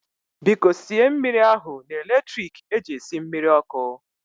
Biko sie mmiri ahu na electrik eji esi mmiri ọkụ